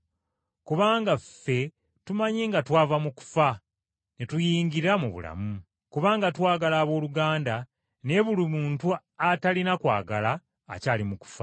Kubanga ffe tumanyi nga twava mu kufa, ne tuyingira mu bulamu, kubanga twagala abooluganda, naye buli muntu atalina kwagala akyali mu kufa.